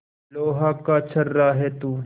लोहा का छर्रा है तू